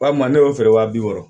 Walima ne y'o feere wa bi wɔɔrɔ